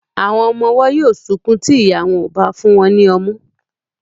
Àwọn ọmọ ọwọ́ yóó sunkún tí ìya wọn ò bá fún wọn ní ọmú.